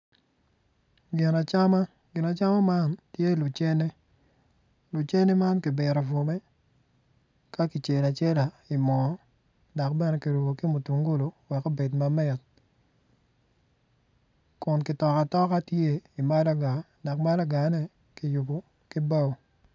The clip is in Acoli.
Gin acama gin acama man tye lucene lucene ma kibito bwome ka kicelo acela i moo dok bene kirubo ki mutungulu wek obed mamit kun kitoko atoka tye i malaga dok malagane kiyubo ki bao.